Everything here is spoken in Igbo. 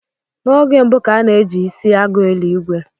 N'oge mbu, ka a na ji isi agụ eli ìgwè